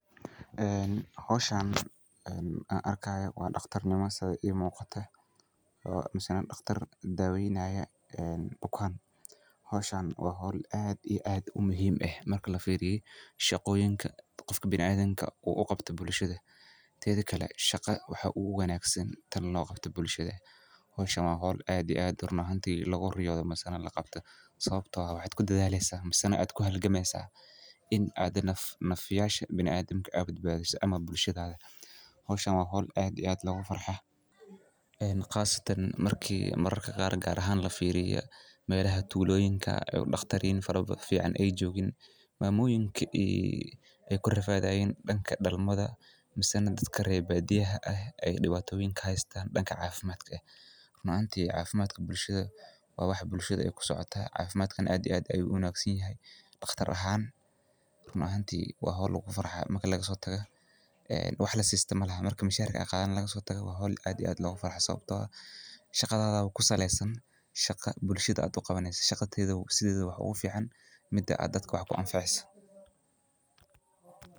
Howshan aan arkaayo waa dhaqtarnimo sidey ii muuqato misana dhaqtar daaweynaaya bukaan howshaan waa howl aad iyo aad muhiim u eh marka lafiiriyo shaqoyinka qofka bina adamka uu uqabto bulshada, teedha kale shaqa waxaa ugu wanagasan tan loo qabto bulshada, howshaan waa howl run ahaanti lagu riyoodo misana laqabto sababto ah waxaad kudadaaleysa misana aad kuhalgameysaa inaad nafyaasha bina aadamka bedbaadiso ama bulshadada, howshaan waa howl aad iyo aad loogu farxo qaasatan markii mararka qaar gaar ahaan lafiiriyo melaha tuuloyinka oo dhaqtariin fiican ay joogin maamoyinki ay kurafaadhayin dhanka dhalmada misana dadk reer baadiyaha ah ay dhibaato weyn ka haystaan dhanka caafimadka, run ahaanti caafimadka bulshada waa wax bulshada ay kusocota, caafimadkana aad aad ayuu uwanagsanyahay dhaqtar ahaan run ahaanti waa howl lagu farxaayo marka laga soo tago wax lasiisto malahan, marka mishaarka aad qaadaneyso laga soo tago waa howl aad iyo aad loogu farxo sababtoo ah shaqadaadaba kusaleysan shaqo bulshada aad uqabaneyso, shaqo sideedaba waxaa ugu fiican mida aad dadka wax kuanfaceyso